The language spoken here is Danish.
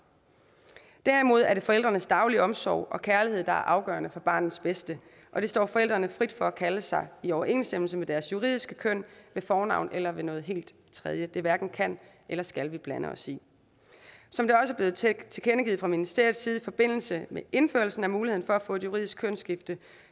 derimod er det forældrenes daglige omsorg og kærlighed der er afgørende for barnets bedste og det står forældrene frit for at kalde sig i overensstemmelse med deres juridiske køn ved fornavn eller ved noget helt tredje det hverken kan eller skal vi blande os i som det også er blevet tilkendegivet fra ministeriets side i forbindelse med indførelsen af muligheden for at få et juridisk kønsskifte